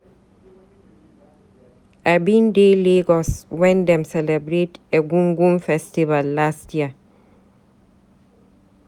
I bin dey Lagos wen dem celebrate Egungun festival last year.